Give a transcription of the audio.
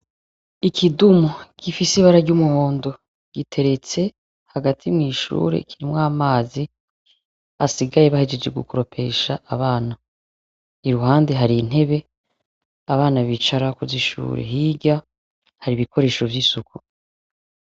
Ikidumu gifis’ ibara ry'umuhondo giteretse hagati mw’ishure kirimw’amazi asigaye bahegeje gukoropesha abana, iruhande har’intebe abana bicarako zishure , hirya ,har’ ibikoresho vy'isuku.